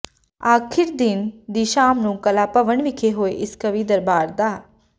ਆਖ਼ਰੀ ਦਿਨ ਦੀ ਸ਼ਾਮ ਨੂੰ ਕਲਾ ਭਵਨ ਵਿਖੇ ਹੋਏ ਇਸ ਕਵੀ ਦਰਬਾਰ ਦ